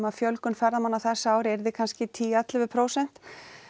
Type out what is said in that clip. að fjölgun ferðamanna á þessu ári yrði kannski tíu til ellefu prósent